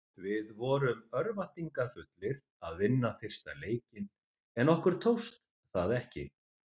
Við vorum örvæntingarfullir að vinna fyrsta leikinn en okkur tókst það ekki.